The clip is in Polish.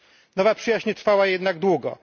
Nowa przyjaźń nie trwała jednak długo.